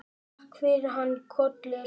Takk fyrir hana Kollu.